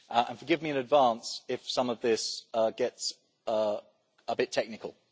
Forgive me in advance if some of this gets a bit technical.